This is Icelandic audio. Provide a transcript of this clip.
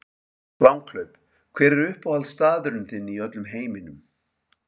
Langhlaup Hver er uppáhaldsstaðurinn þinn í öllum heiminum?